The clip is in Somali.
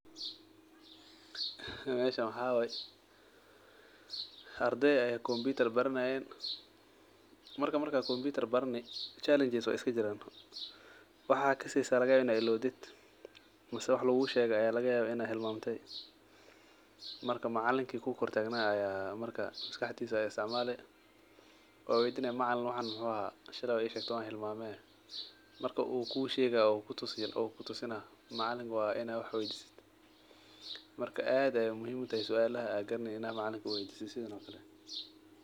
Meshaan waxa waye arday aya compitar baranayeen marka markaa compitar barani challenges way iskajiran waxa kasikarakaya inad ilowdid misa waxa lagushegi aya lagayaba inad hilmamti marka macalinki kukortaganay aya marka maskaxdisa aya isticmali waweydini macalin waxan muxu ahaa shali wad ishegti wan hilmame marka u keshagaya oo kutusina macalinka wa ina wax weydisatid. Marka aad ayay muhim ugutahay sualaha ad garaneynin macalinka inad weydisatid sidhan ogale.